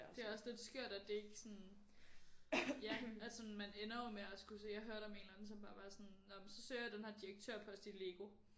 Det er også lidt skørt at det ikke sådan ja at sådan man ender jo med at skulle se jeg hørte om en eller anden som bare var sådan nåh men så søger jeg den her direktørpost i LEGO